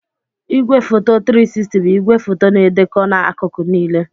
Igwefoto 360 bụ igwefoto na-edekọ n'akụkụ niile.